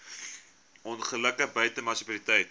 ongelukke buite munisipale